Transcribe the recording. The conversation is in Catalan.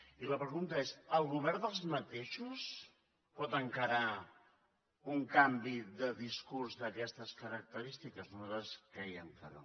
i la pregunta és el govern dels mateixos pot encarar un canvi de discurs d’aquestes característiques nosaltres creiem que no